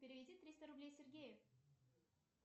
переведи триста рублей сергею